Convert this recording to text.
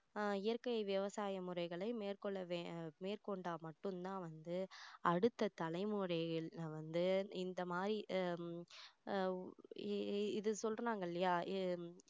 அஹ் இயற்கை விவசாய முறைகளை மேற்கொள்ள வே~மேற்கொண்டா மட்டும் தான் வந்து அடுத்த தலைமுறையில்ல வந்து இந்த மாதிரி ஹம் ஆஹ் இ~இது சொல்றாங்க இல்லையா அஹ்